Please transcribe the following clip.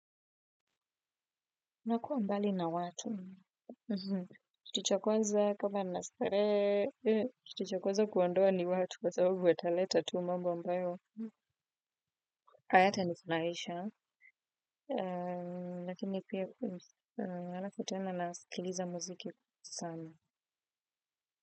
Nakuwa mbali na watu. Kitu cha kwanza kama ninastarehe. Kitu cha kwanza kuondoa ni watu. Kwa sababu wataleta tu mambo ambayo. Hayatanifurahisha. Lakini pia alafu tena naskiliza muziki sana.